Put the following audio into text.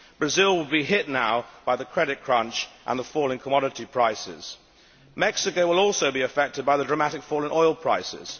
Brazil will be hit now by the credit crunch and the fall in commodity prices. Mexico will also be affected by the dramatic fall in oil prices.